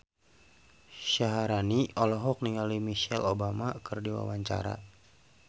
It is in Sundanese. Syaharani olohok ningali Michelle Obama keur diwawancara